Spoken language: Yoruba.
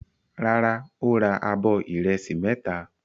Rárá, ó ra abọ́ ìrẹsì mẹ́ta.